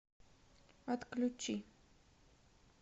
отключи